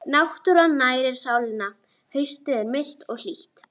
Náttúran nærir sálina Haustið er milt og hlýtt.